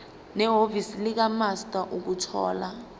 nehhovisi likamaster ukuthola